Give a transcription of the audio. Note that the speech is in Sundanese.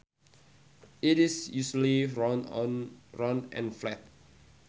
It is usually round and flat